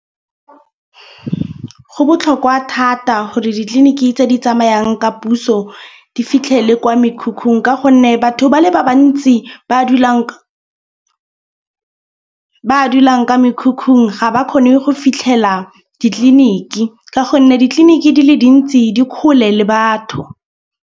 Go botlhokwa thata gore ditleliniki tse di tsamayang ka puso di fitlhele kwa mekhukhung. Ka gonne batho ba le ba bantsi ba dulang ka mekhukhung ga ba kgone go fitlhela ditleliniki. Ka gonne ditleliniki di le dintsi di kgole le batho.